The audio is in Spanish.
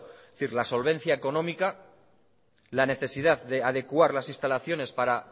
es decir la solvencia económica la necesidad de adecuar las instalaciones para